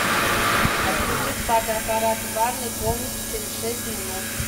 отключить фотоаппарат в ванной комнате через шесть минут